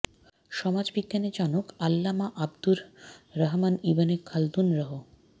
সমাজ বিজ্ঞানের জনক আল্লামা আবদুর রহমান ইবনে খালদুন রহ